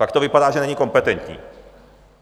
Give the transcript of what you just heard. Pak to vypadá, že není kompetentní.